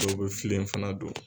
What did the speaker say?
Dɔw bɛ filen fana don.